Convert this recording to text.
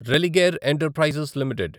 Religare enterprises limited